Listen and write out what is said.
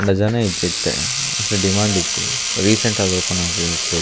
ಆಂಡ ಜನ ಇಜ್ಜಿ ಇತ್ತೆ ಅಂಚ ಮೋಸ್ಟ್ಲಿ ಡಿಮ್ಯಾಂಡ್ ಇಜ್ಜಿ ರೀಸೆಂಟ್ ಆದ್ ಓಪನ್ ಆದ್ ಇಪ್ಪೊಡು.